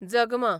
जगमां